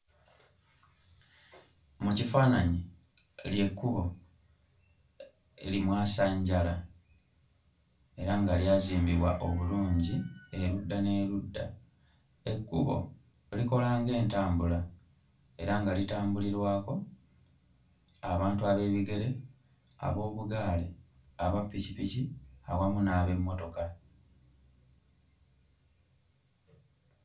Mu kifaananyi ly'ekkubo limwasanjala era nga lyazimbibwa obulungi erudda n'erudda. Ekkubo likola ng'entambula era nga litambulirwako abantu ab'ebigere, ab'obugaali, aba ppikipiki awamu n'ab'emmotoka.